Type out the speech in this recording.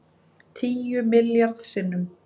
Tíu milljarð sinnum